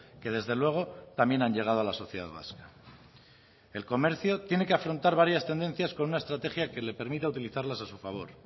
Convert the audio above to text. que desde luego también han llegado a la sociedad vasca el comercio tiene que afrontar varias tendencias con una estrategia que le permita utilizarlas a su favor